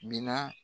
Minan